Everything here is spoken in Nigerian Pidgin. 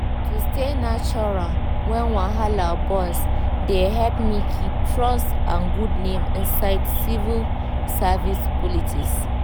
to stay neutral when wahala burst dey help me keep trust and good name inside civil service politics.